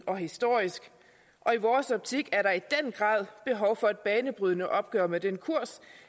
og historisk og i vores optik er der i den grad behov for et banebrydende opgør med den kurs